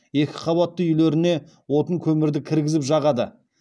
екі қабатты үйлеріне отын көмірді кіргізіп жағады